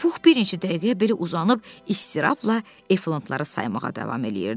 Pux bir neçə dəqiqə belə uzanıb istirabla efantları saymağa davam eləyirdi.